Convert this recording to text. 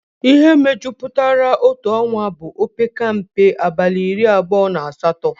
Ihe mejupụtara otu ọnwa bụ opekata mpe abalị iri abụọ na asatọ